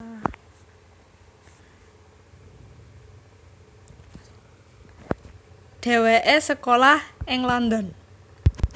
Dhéwéké sekolah ing London